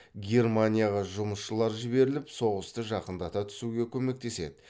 германияға жұмысшылар жіберіліп соғысты жақындата түсуге көмектеседі